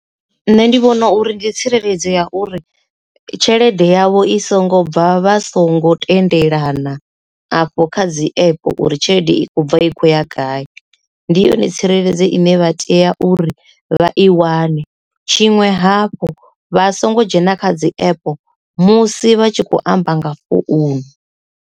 Nṋe ndi vhona uri ndi tsireledzo ya uri tshelede yavho i songo bva vha songo tendelana afho kha dzi app uri tshelede i kho bva i khou ya gai ndi yone tsireledze ine vha tea uri vha i wane, tshiṅwe hafhu vha songo dzhena kha dzi app musi vha tshi khou amba nga founu.